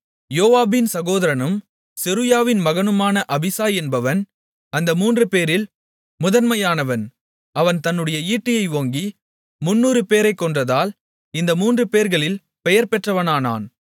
யோவாபின் சகோதரனும் செருயாவின் மகனுமான அபிசாய் என்பவன் அந்த மூன்றுபேரில் முதன்மையானவன் அவன் தன்னுடைய ஈட்டியை ஓங்கி 300 பேரைக் கொன்றதால் இந்த மூன்றுபேர்களில் பெயர்பெற்றவனானான்